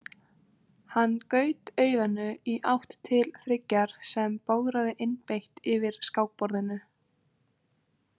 Hann gaut auganu í átt til Friggjar sem bograði einbeitt yfir skákborðinu.